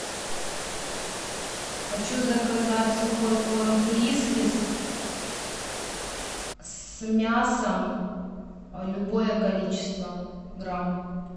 хочу заказать сухой корм фрискис с мясом любое количество грамм